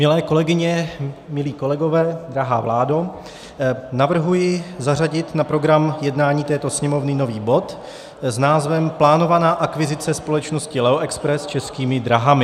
Milé kolegyně, milí kolegové, drahá vládo, navrhuji zařadit na program jednání této Sněmovny nový bod s názvem Plánovaná akvizice společnosti Leo Express Českými dráhami.